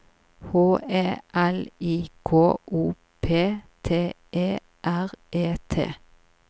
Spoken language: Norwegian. H E L I K O P T E R E T